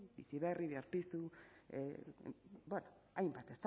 biziberri berpiztu bueno hainbat